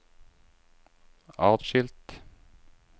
atskilt